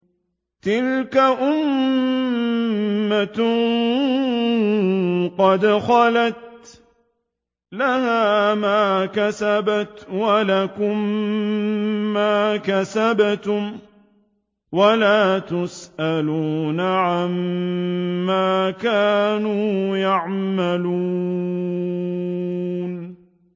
تِلْكَ أُمَّةٌ قَدْ خَلَتْ ۖ لَهَا مَا كَسَبَتْ وَلَكُم مَّا كَسَبْتُمْ ۖ وَلَا تُسْأَلُونَ عَمَّا كَانُوا يَعْمَلُونَ